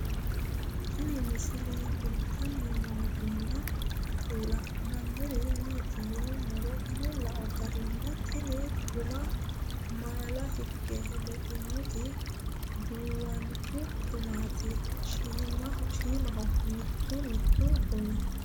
Tinni misile kulittanni noorrinna la'nanniri maattiya yinummoro ane lao garinni tinni gumma maalla hige leinnotti duuwanchu gamaatti shiimmaho mittu mittu gumi